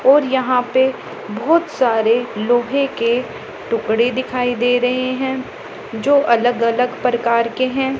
और यहां पे बहोत सारे लोहे के तूकड़े दिखाई दे रहें हैं जो अलग अलग परकार के हैं।